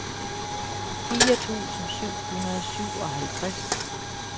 fire tusind syv hundrede og syvoghalvtreds